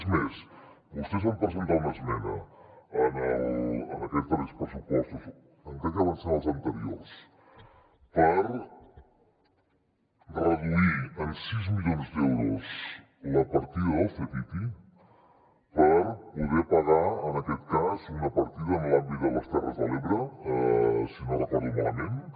és més vostès van presentar una esmena en aquests darrers pressupostos o crec que van ser els anteriors per reduir en sis milions d’euros la partida del ctti per poder pagar en aquest cas una partida en l’àmbit de les terres de l’ebre si no recordo malament eh